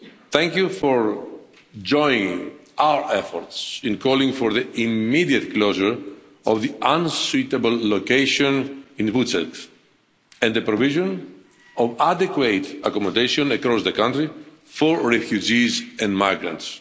Thank you for joining our efforts in calling for the immediate closure of the unsuitable location in Vučjak and the provision of adequate accommodation across the country for refugees and migrants.